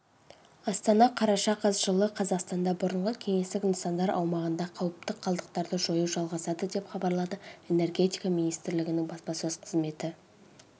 астана қараша қаз жылы қазақстанда бұрынғы кеңестік нысандар аумағында қауіпті қалдықтарды жою жалғасады деп хабарлады энергетика министрлігінің баспасөз қызметі